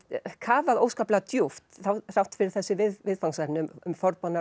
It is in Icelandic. kafað óskaplega djúpt þrátt fyrir þessi viðfangsefni um